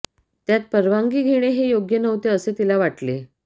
त्यात परवानगी घेणे हे योग्य नव्हते असे तिला वाटले